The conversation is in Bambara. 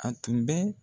A tun bɛ